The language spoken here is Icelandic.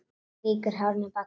Strýkur hárinu bak við eyrað.